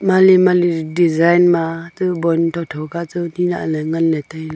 mali mali design tu bon tho tho kachu nilahley nganley tailey.